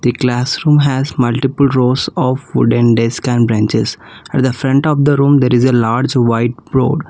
The classroom has multiple rows of wooden desk and benches at the front of the room there is a large white board.